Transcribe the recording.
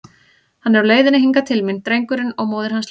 Hann er á leiðinni hingað til mín, drengurinn, og hún móðir hans líka!